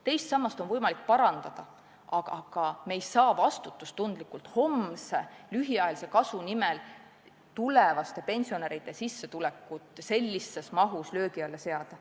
Teist sammast on võimalik parandada, aga me ei saa vastutustundetult homse lühiajalise kasu nimel tulevaste pensionäride sissetulekut sellises mahus löögi alla seada.